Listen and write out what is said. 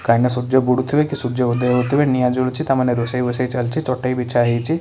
କାହିଁ ନା ସୂର୍ଯ୍ୟ ବୁଡ଼ୁଥିବେ କି ସୂର୍ଯ୍ୟ ଉଦୟ ହେଉଥିବେ। ନିଅ ଜଳୁଚି ତାମାନେ ରୋଷେଇ ବସାଚାଲିଛି ଚଟେଇ ବିଛହେଇଛି।